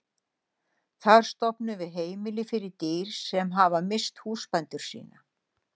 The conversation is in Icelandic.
Þar stofnum við heimili fyrir dýr sem hafa misst húsbændur sína.